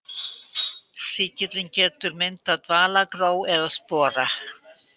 Sýkillinn getur myndað dvalagró eða spora.